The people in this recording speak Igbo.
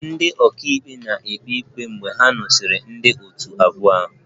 Ndị ọka ikpe na-ekpe ikpe ikpe mgbe ha nụsịrị ndị otu abụọ ahụ